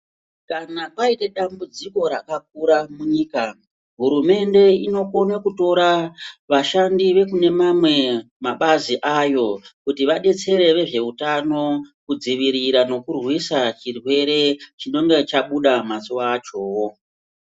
Kana paite dambudziko rakakura munyika hurumende inokona kutora vashandi vekune mabazi ayo kuti vadetsere zveutano kurwisa nekudzivirirwa chirwere chinenge chabuda mazuwa achowo.